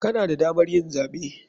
Kana da damar yin zaɓe.